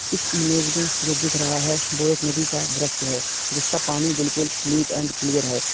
इस इमेज में जो दिख रहा है वो एक नदी का दृश्य है जिसका पानी बिल्कुल नीट एंड क्लियर है।